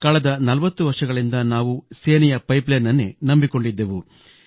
ಕಳೆದ 40 ವರ್ಷಗಳಿಂದ ನಾವು ಸೇನೆಯ ಪೈಪ್ಲೈನ್ನನ್ನೇ ನಂಬಿಕೊಂಡಿದ್ದೆವು